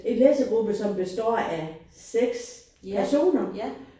En læsegruppe som består af 6 personer